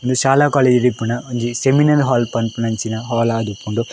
ಉಂದು ಶಾಲೆ ಕಾಲೇಜ್ ಡು ಇಪ್ಪುನ ಒಂಜಿ ಸೆಮಿನಲ್ ಹಾಲ್ ಪನ್ಪುನಂಚಿನ ಹಾಲ್ ಆದಿಪ್ಪುಂಡು.